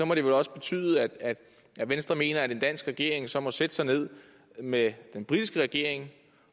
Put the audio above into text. må det vel også betyde at venstre mener at en dansk regering så må sætte sig ned med den britiske regering